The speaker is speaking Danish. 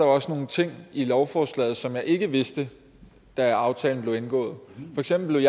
også nogle ting i lovforslaget som jeg ikke vidste da aftalen blev indgået for eksempel